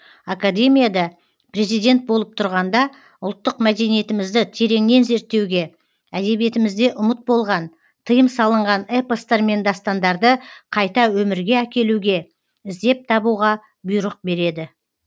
академияда президент болып тұрғанда ұлттық мәдениетімізді тереңнен зерттеуге әдебиетімізде ұмыт болған тыйым салынған эпостар мен дастандарды қайта өмірге әкелуге іздеп табуға бұйрық береді